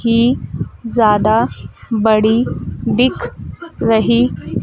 की ज्यादा बड़ी दिख रही--